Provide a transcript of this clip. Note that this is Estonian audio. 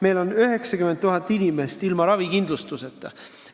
Meil on 90 000 inimest ilma ravikindlustuseta.